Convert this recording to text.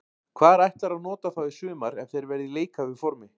Hvar ætlarðu að nota þá í sumar ef þeir verða í leikhæfu formi?